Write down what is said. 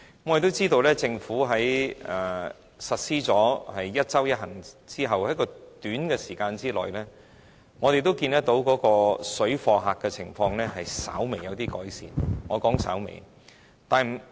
我們亦知道，政府在實施"一周一行"後，在短時間內已看到水貨客的情況稍微有改善——是稍微。